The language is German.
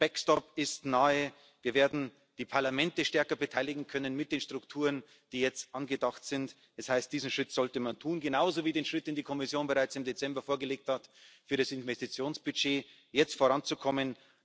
Der backstop ist nahe. Wir werden die Parlamente stärker beteiligen können mit den Strukturen, die jetzt angedacht sind. Das heißt, diesen Schritt sollte man tun, genauso wie den Schritt, den die Kommission bereits im Dezember vorgeschlagen hat, mit dem Investitionsbudget jetzt voranzukommen.